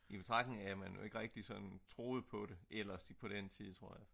i betragtning af at man jo ikke rigtig sådan troede på det ellers på den tid tror jeg